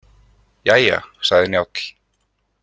Jæja, sagði Njáll.